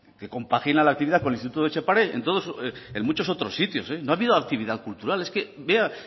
que compagina la actividad con el instituto etxepare en muchos otros sitios no ha habido actividad cultural es que vea